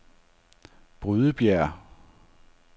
Brydebjerg